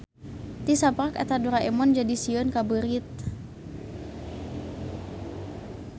Ti saprak eta Doraemon jadi sieun ka beurit.